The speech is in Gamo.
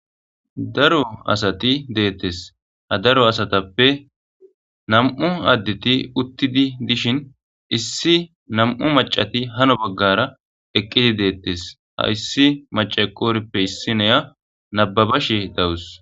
Daro asati deates ha daro asatepe na'mu aadeti uutid diishin issi na'mu maccat haano bagara eqqid deates hayisi maace eqoorape issinya nababashe dawus.